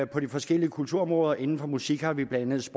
på de forskellige kulturområder inden for musik har vi blandt